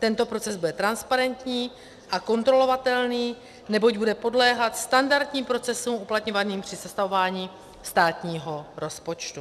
Tento proces bude transparentní a kontrolovatelný, neboť bude podléhat standardním procesům uplatňovaným při sestavování státního rozpočtu.